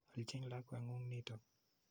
Aljin lakwet ng'ung' nitok.